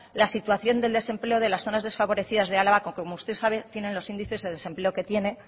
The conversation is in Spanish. la situación del desempleo de las zonas desfavorecidas de álava que como usted sabe tienen los índices de desempleo que tiene